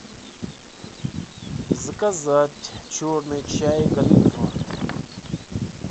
заказать черный чай гринфилд